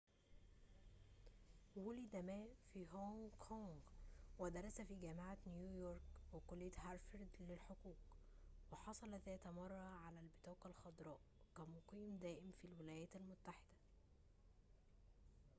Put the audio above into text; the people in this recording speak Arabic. وُلد ما في هونغ كونغ ودرس في جامعة نيويورك وكلية هارفارد للحقوق وحصل ذات مرة على البطاقة الخضراء كمقيم دائم في الولايات المتحدة